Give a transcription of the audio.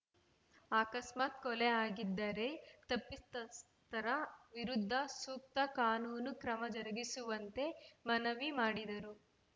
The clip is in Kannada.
ಆಕಸ್ಮಾತ್‌ ಕೊಲೆಯಾಗಿದ್ದರೆ ತಪ್ಪಿತಸ್ಥರ ವಿರುದ್ಧ ಸೂಕ್ತ ಕಾನೂನು ಕ್ರಮ ಜರುಗಿಸುವಂತೆ ಮನವಿ ಮಾಡಿದರು